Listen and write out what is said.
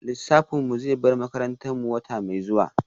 Lissafin mu zai bar makarantar mu wata mai zuwa